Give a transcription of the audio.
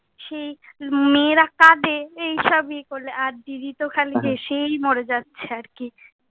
সেই মেয়েরা কাঁদে, এই সব ইয়ে করলে। আর দিদি তো খালি হেসেই মরে যাচ্ছে আর কি।